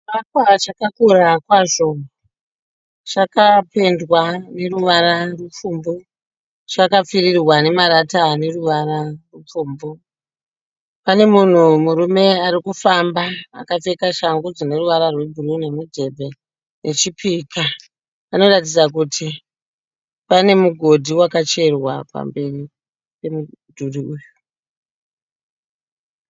Chivakwa chakakura kwazvo. Chakapendwa neruvara rupfumvu. Chakapfirirwa nemarata ane ruvara rupfumvu. Pane munhu murume ari kufamba akapfeka shangu dzine ruvara rwebhuruu nemudhebhe nechipika. Panoratidza kuti pane mugodhi wakacherwa pamberi pemudhuri uyu.